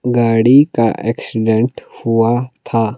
गाड़ी का एक्सीडेंट हुआ था।